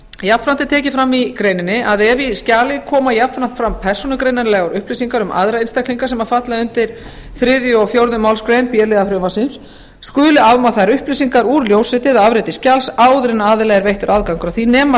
jafnframt er tekið fram í greininni að ef í skjali koma jafnframt fram persónugreinanlegar upplýsingar um aðra einstaklinga sem falla undir þriðju eða fjórðu málsgrein b liðar frumvarpsins skuli afmá þær upplýsingar úr ljósriti eða afriti skjals áður en aðila er veittur aðgangur að því nema